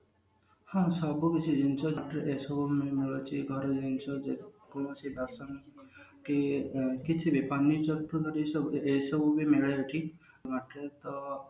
ହଁ ସବୁ କିଛି ଜିନିଷ କି କିଛି ବି ଏସବୁ ବି ମିଳେ ଏଠି